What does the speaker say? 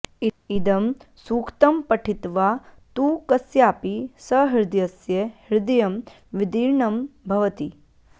इदं सूक्तं पठित्वा तु कस्यापि सहृदयस्य हृदयं विदीर्णं भवति